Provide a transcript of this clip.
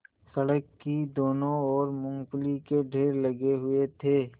सड़क की दोनों ओर मूँगफली के ढेर लगे हुए थे